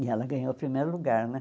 E ela ganhou o primeiro lugar, né?